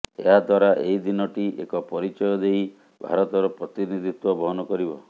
ଏହାଦ୍ୱରା ଏହି ଦିନ ଟି ଏକ ପରିଚୟ ନେଇ ଭାରତର ପ୍ରତିନିଧିତ୍ୱ ବହନ କରିବ